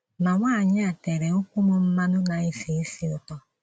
Ma nwanyị a tèrè ụ̀kwụ́ m mmanụ na - esi ísì ùtó.